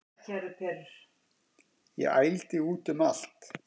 Ég ældi út um allt